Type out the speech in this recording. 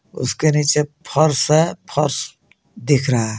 उसके नीचे फर्श है फश दिख रहा है.